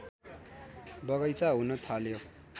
बगैँचा हुन थाल्यो